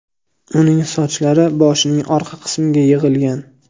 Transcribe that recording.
Uning sochlari boshining orqa qismiga yig‘ilgan.